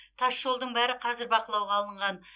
тасжолдың бәрі қазір бақылауға алынған